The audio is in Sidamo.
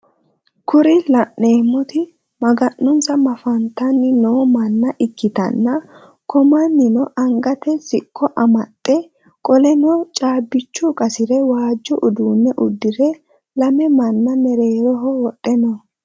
Kuri laneemoti maganonsa mafanitanni noo manna ikkitanna ko mannino angate siqqo amaxxe qoleno caabicho xasire waajjo uduunne udire lame manna mereeroho wodhe no